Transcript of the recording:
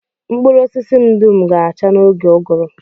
Mkpụrụ osisi m dum ga-acha n'oge ụgụrụ